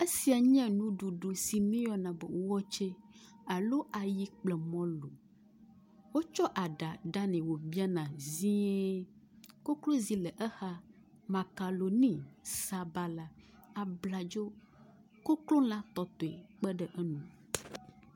Esiae nye nuɖuɖu si míeyɔna be wɔtsɛ alo ayi kple mɔlu. Wotsɔ aɖa ɖanɛ wobiana zie. Koklozi le exa, makoɖoni, sabala, abladzo, koklola tɔtɔe kpe ɖe enu.